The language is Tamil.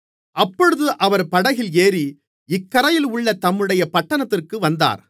அப்பொழுது அவர் படகில் ஏறி இக்கரையில் உள்ள தம்முடைய பட்டணத்திற்கு வந்தார்